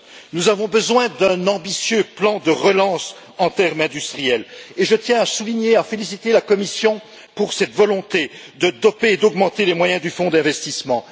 Nous avons besoin d'un ambitieux plan de relance en termes industriels et je tiens à féliciter la Commission pour cette volonté de doper, d'augmenter les moyens du Fonds d'investissements.